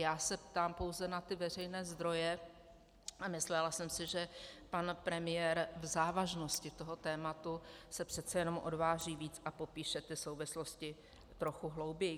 Já se ptám pouze na ty veřejné zdroje a myslela jsem si, že pan premiér v závažnosti toho tématu se přece jenom odváží víc a popíše ty souvislosti trochu hlouběji.